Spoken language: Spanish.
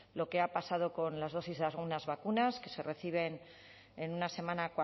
lo que ha pasado con las dosis de algunas vacunas que se reciben en una semana